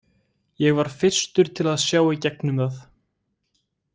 Ég var fyrstur til að sjá í gegnum það.